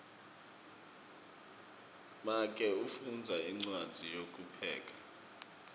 make ufundza incwadzi yekupheka